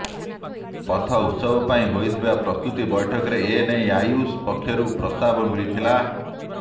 ପଥ ଉତ୍ସବ ପାଇଁ ହୋଇଥିବା ପ୍ରସ୍ତୁତି ବୈଠକରେ ଏନେଇ ଆୟୁଷ ପକ୍ଷରୁ ପ୍ରସ୍ତାବ ମିଳିଥିଲା